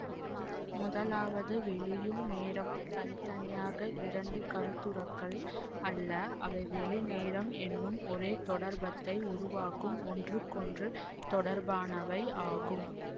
முதலாவது வெளியும் நேரமும் தனி தனியாக இரண்டு கருத்துரக்கள் அல்ல அவை வெளிநேரம் என்னும் ஒரே தொடர்பத்தை உருவாக்கும் ஒன்றுக்கொன்று தொடர்பானவை ஆகும்